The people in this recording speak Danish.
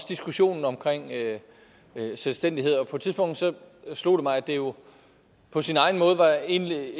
diskussionen om selvstændighed på et tidspunkt slog det mig at det jo på sin egen måde egentlig